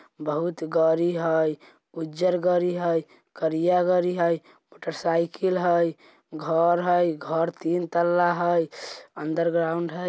बहुत गारी है उज्जर उजला गारी है करिया गारी है मोटर साइकिल है घर है घर तीन तल्ला है अंडरग्राउंड है।